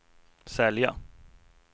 sälja